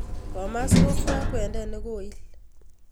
Kamas ngokto ak kwendet nekoil